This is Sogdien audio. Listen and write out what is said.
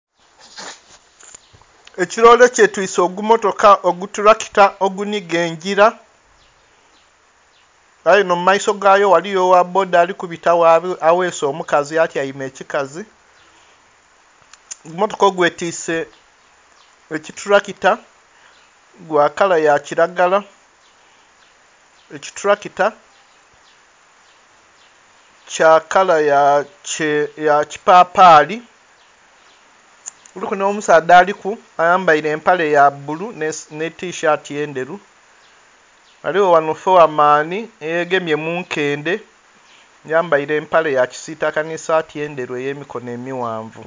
Ekiloole kyetwise ogummotoka, ogutulakita ogunhiga engila aye enho mu maiso gayo eliyo ogha bboda alikubita gho abeese omukazi atyaime ekikazi. Ogummotoka ogwetwise ekitulakita gwa kala ya kilagala, ekitulakita kya kala ya kipapaali kuliku nh'omusaadha aliku nga ayambaile empale ya bbulu nhe tishaati endheru. Ghaligho ghanho fowa maani eyegemye mu nkende ayambaile empale ya kisiitaka nh'esaati endheru ey'emikono emighanvu .